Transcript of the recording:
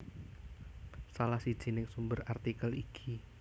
Salah sijining sumber artikel iki